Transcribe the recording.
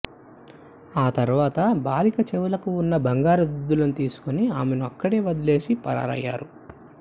ఆ తర్వాత బాలిక చెవులకు ఉన్న బంగారు దుద్దులను తీసుకుని ఆమెను అక్కడే వదిలేసి పరారయ్యారు